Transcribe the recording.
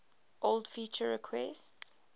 old feature requests